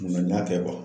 Nka n y'a kɛ